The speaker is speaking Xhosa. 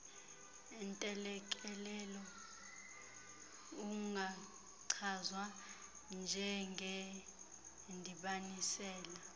ntelekelelo ungachazwa njengendibanisela